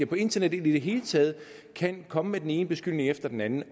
på internettet i det hele taget kan komme med den ene beskyldning efter den anden